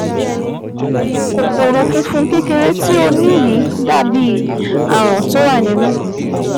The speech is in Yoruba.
Kòkòrò funfun kékeré tí o ní yìí dàbí aràn tó wà nínú